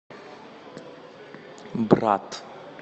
брат